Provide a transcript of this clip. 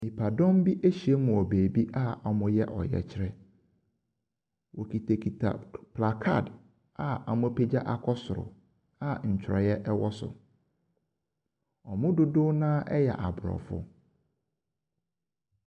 Nnipadɔm bi ahyiam wɔ baabi a wɔreyɛ ɔyɛkyerɛ. Wɔkitakita kad a wɔapegya akɔ soro a nkyerwee wɔ so. Wɔn mu dodow no ara yɛ Aborɔfo.